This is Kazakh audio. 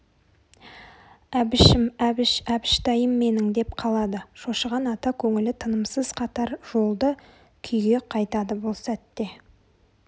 әбішім әбіш әбіштайым менің деп қалады шошыған ата көңілі тынымсыз қатар жолды күйге қайтады бұл сәтте